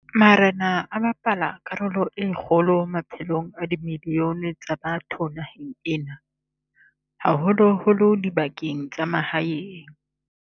Marena a bapala karolo e kgolo maphelong a dimilione tsa batho naheng ena, haholo-holo dibakeng tsa mahaeng.